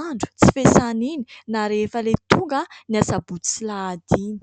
andro tsy fiasana iny ; na rehefa ilay tonga ny asabotsy sy alahady iny.